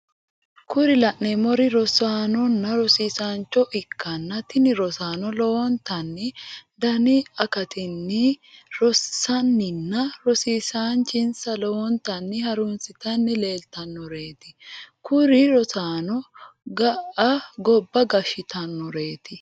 Kuri lanemori rossanona rosissancho ikana tini rossano lowonitanni Dani hi akattinni rosanina rosisachonisa lowonittani harunisitanni lelelitanoreti kuuri rossanono gaa goba gashshitanoreti.